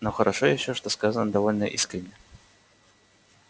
но хорошо ещё что сказано довольно искренне